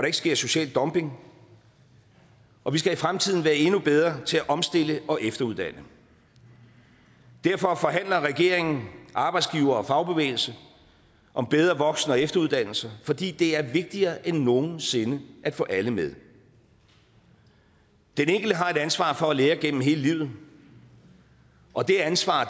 ikke sker social dumping og vi skal i fremtiden være endnu bedre til at omstille og efteruddanne derfor forhandler regeringen arbejdsgivere og fagbevægelse om bedre voksen og efteruddannelse fordi det er vigtigere end nogen sinde at få alle med den enkelte har ansvaret for at lære gennem hele livet og det ansvar